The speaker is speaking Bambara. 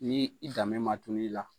Ni i danbe ma tunu i la